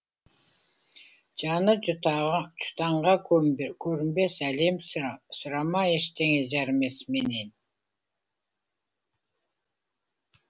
жаны жұтаңға көрінбес әлем сұрама ештеңе жарымес менен